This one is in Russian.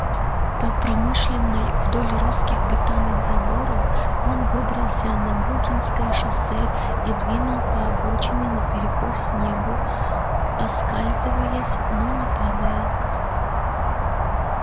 по промышленной вдоль русских бетонных заборов он выбрался на букинское шоссе и двинул по обочине наперекор снегу оскальзываясь но не падая